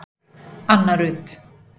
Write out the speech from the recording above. Anna Rut.